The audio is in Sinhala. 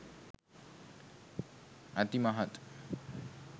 අති මහත්